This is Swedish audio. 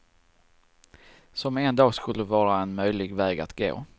Som en dag skulle vara en möjlig väg att gå.